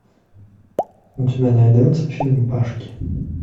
у тебя найдется фильм пашки